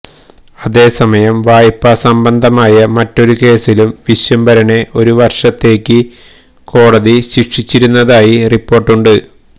അതേ സമയം വായ്പാ സംബന്ധമായ മറ്റൊരു കേസിലും വിശ്വംഭരനെ ഒരു വര്ഷത്തേക്ക് കോടതി ശിക്ഷിച്ചിരുന്നതായി റിപ്പോര്ട്ടുണ്ട്